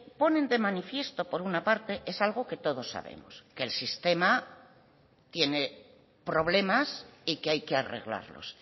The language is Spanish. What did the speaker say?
ponen de manifiesto por una parte es algo que todos sabemos que el sistema tiene problemas y que hay que arreglarlos